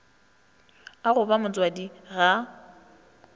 a go ba motswadi ga